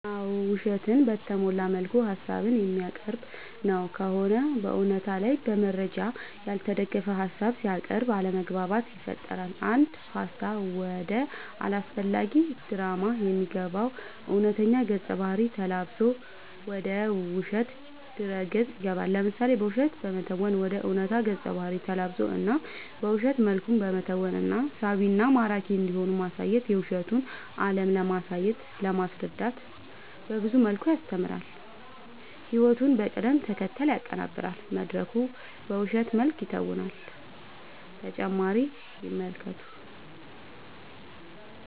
አዎ ውሸትን በተሞላ መልኩ ሀሳብን የሚያቀርብ ነው ከሆነ በእውነታ ላይ በመረጃ ያልተደገፈ ሀሳብ ሲያቅርብ አለማግባባት ይፈጥራል አንድ ፓስታ ወደ አላስፈላጊ ድራማ የሚገባው እውነተኛ ገፀ ባህርይ ተላብሶ ወደ ውሸት ድረ ገፅ ይገባል። ለምሳሌ በውሸት በመተወን ወደ ዕውነታ ገፀ ባህሪ ተላብሶ እና በውሸት መልኩም በመተወን እና ሳቢና ማራኪ እንዲሆን ማሳየት የውሸቱን አለም ለማሳየትና ለማስረዳት በብዙ መልኩ ያስተምራል ህይወቱን በቅደም ተከተል ያቀናብራል መድረኩን በውሸት መልክ ይተውናል።…ተጨማሪ ይመልከቱ